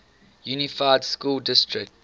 unified school district